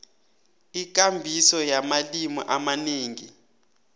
ikambiso yamalimi amanengi